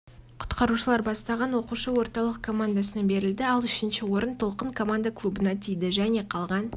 құтқарушылар бастаған оқушы орталық командасына берілді ал үшінші орын толқын команда клубына тиді және қалған